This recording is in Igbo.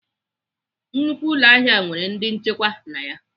Nnukwu ụlọahịa nwere ndị nchekwa na ya.